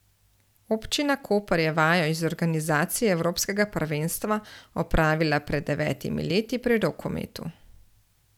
Občina Koper je vajo iz organizacije evropskega prvenstva opravila pred devetimi leti pri rokometu.